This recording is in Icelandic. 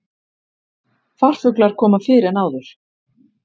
Farfuglar koma fyrr en áður